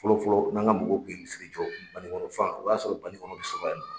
Fɔlɔ fɔlɔ n'an ka mɔgɔw kun ye misiri jɔ ,banikɔnɔ fan o y'a sɔrɔ banikɔnɔ be sɔrɔ yan nɔ